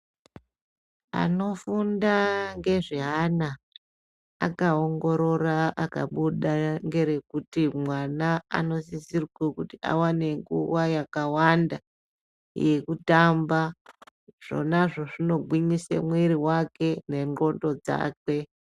Anofunda ngezveana akaongorora akabuda ngerekuti mwana anosisisrwe kuti awane nguva yakawanda yekutamba zvonazvo zvinogwinyise mwiri wake nendxondo dzakwe.